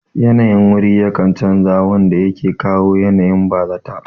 Yanayin wuri yakan chanza wanda yake kawo yanayin bazata